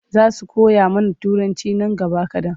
Za su koya mana Turanci nan gaba kaɗan.